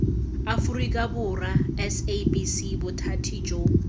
aforika borwa sabc bothati jo